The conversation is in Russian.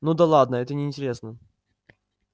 ну да ладно это неинтересно